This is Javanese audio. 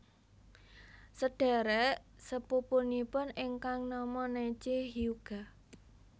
Sêdhérék sepupunipun ingkang nama Neji Hyuuga